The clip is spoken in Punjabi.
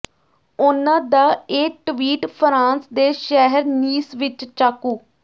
ਉਨ੍ਹਾਂ ਦਾ ਇਹ ਟਵੀਟ ਫਰਾਂਸ ਦੇ ਸ਼ਹਿਰ ਨੀਸ ਵਿੱਚ ਚਾਕੂ